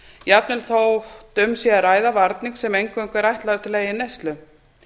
jafnvel þótt um sé að ræða varning sem er eingöngu ætlaður til eigin neyslu